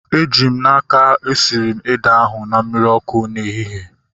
Eji m n'aka, esiri m ede ahu na mmiri ọkụ n'ehihie